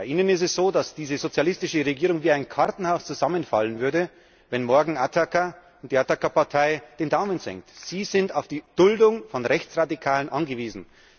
Bei Ihnen ist es so, dass diese sozialistische Regierung wie ein Kartenhaus zusammenfallen würde, wenn morgen die Ataka Partei den Daumen senkt. Sie sind auf die Duldung durch Rechtsradikale angewiesen.